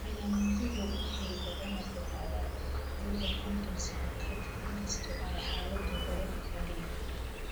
Calaamaduhu waxay badanaa bilaabaan da'da kontoon sano ka dib, inkastoo ay xaaladdu hore u dhici karto.